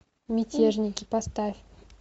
мятежники поставь